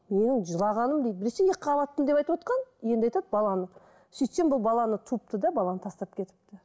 ол жылағаным дейді біресе екіқабатпын деп айтывотқан енді айтады баланы сөйтсем бұл баланы туыпты да баланы тастап кетіпті